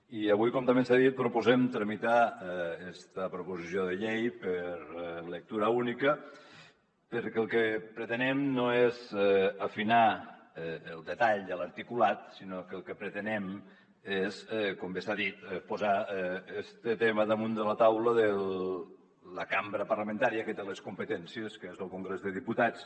i avui com també s’ha dit proposem tramitar esta proposició de llei per lectura única perquè el que pretenem no és afinar el detall de l’articulat sinó que el que pretenem és com bé s’ha dit posar este tema damunt de la taula de la cambra parlamentària que té les competències que és lo congrés dels diputats